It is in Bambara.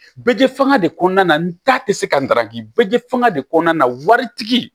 Bɛj fan de kɔnɔna na n ta tɛ se ka n daraki bɛj fɛngɛ de kɔnɔna na waritigi